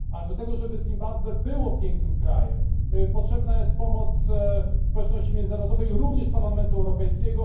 Ale do tego, żeby Zimbabwe było pięknym krajem, potrzebna jest pomoc społeczności międzynarodowej, również Parlamentu Europejskiego.